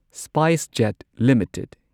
SpiceJet limited